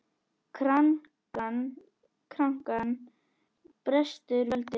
Krankan brestur völdin.